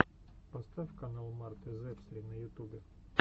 поставь канал марты зэпсри на ютубе